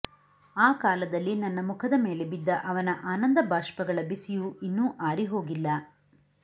ಆ ಕಾಲದಲ್ಲಿ ನನ್ನ ಮುಖದ ಮೇಲೆ ಬಿದ್ದ ಅವನ ಆನಂದಬಾಷ್ಪಗಳ ಬಿಸಿಯು ಇನ್ನೂ ಆರಿಹೋಗಿಲ್ಲ